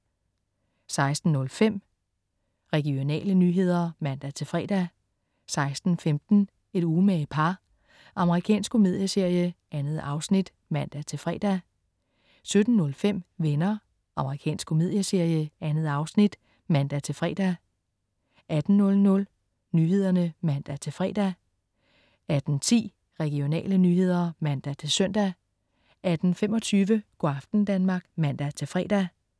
16.05 Regionale nyheder (man-fre) 16.15 Et umage par. Amerikansk komedieserie. 2 afsnit (man-fre) 17.05 Venner. Amerikansk komedieserie. 2 afsnit (man-fre) 18.00 Nyhederne (man-fre) 18.10 Regionale nyheder (man-søn) 18.25 Go' aften Danmark (man-fre)